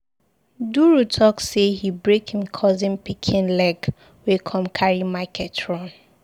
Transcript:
Duru talk say he break im cousin pikin leg wey come carry market run.